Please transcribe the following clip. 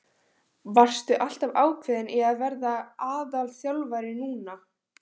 Varstu alltaf ákveðinn í að verða aðalþjálfari núna?